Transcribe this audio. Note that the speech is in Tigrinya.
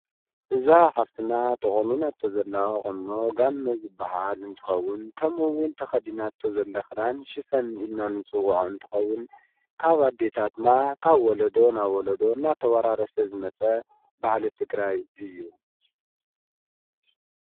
እዛ ሃፍትና ተቖኒና ቶ ዘለቕኖ ጋመዝ በሃል እንትኸውን ከምኡውን ተኸዲና እቶ ዘለ ኽዳን ሽፈን ኢናንጽውዖ እንትኸዉን ካብ ኣዲታትና ካብ ወሎዶ ናብ ሎዶ ናተዋራረሰ ዝመጸ ባሃል እትግራይ እዩ።